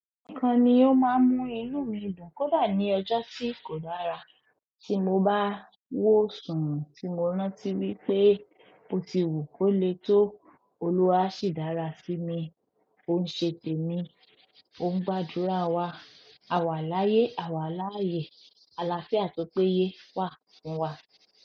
Nìkan ni ó máa ń mú inú mi dùn kódà ní ọjọ́ tí kò dára tí mo bá wó sùn tí mo rántí wípé ó ti wù kó le tó, Olúwa ṣì dára sí mi, ó ń ṣe tèmi, ó ń gbàdúrà wa, àwàláyé, àwàláyé, àlàáfíà tó pé yé wà fún wa.